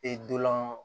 E dolan